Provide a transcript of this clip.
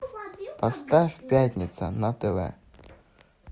поставь пятница на тв